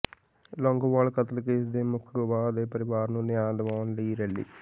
ਲੌਂਗੋਵਾਲ ਕਤਲ ਕੇਸ ਦੇ ਮੁੱਖ ਗਵਾਹ ਦੇ ਪਰਿਵਾਰ ਨੂੰ ਨਿਆਂ ਦਿਵਾਉਣ ਲਈ ਰੈਲੀ